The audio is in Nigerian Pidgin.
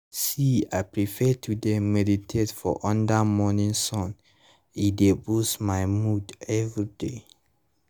see i prefer to dey meditate for under morning sun e dey boost my mood everyday